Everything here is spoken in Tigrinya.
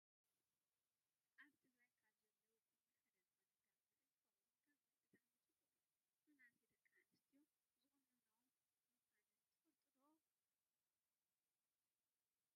ኣብ ትግራይ ካብ ባህላዊ ቁኖ ሓደ ዝኮነ ጋመ እንትከውን፣ ጋመ ብጣዕሚ ፅቡቅ እዩ። መናእሰይ ደቂ ኣንስትዮ ዝቁኖኖኦ ምኳነን ትፈልጡ ዶ?